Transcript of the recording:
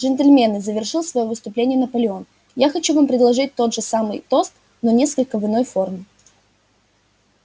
джентльмены завершил своё выступление наполеон я хочу вам предложить тот же самый тост но несколько в иной форме